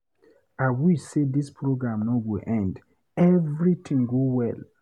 I wish say dis program no go end, everything go well.